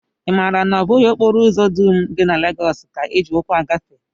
I maara na ọ bụghị okporo ụzọ dum dị na Legọs ka e ji ụkwụ agafe?